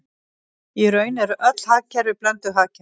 Í raun eru öll hagkerfi blönduð hagkerfi.